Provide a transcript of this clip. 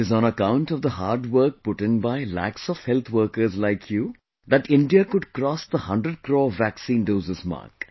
It is on account of the hard work put in by lakhs of health workers like you that India could cross the hundred crore vaccine doses mark